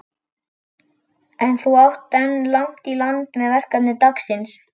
En þú átt enn langt í land með verkefni dagsins.